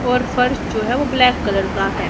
और फर्श जो है वो ब्लैक कलर का है।